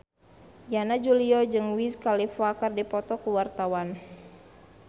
Yana Julio jeung Wiz Khalifa keur dipoto ku wartawan